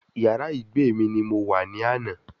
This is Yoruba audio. Yàrá ìgbé mi ni mo wà ní àná